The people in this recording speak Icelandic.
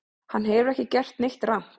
Hann hefur ekki gert neitt rangt